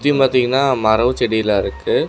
சுத்தியும் பாத்தீங்கனா மரம் செடியெல்லாம் இருக்கு.